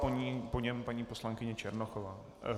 Po něm paní poslankyně Černochová.